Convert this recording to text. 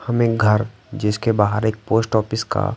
हमें घर जिसके बाहर एक पोस्ट ऑफिस का--